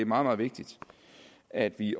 meget vigtigt at vi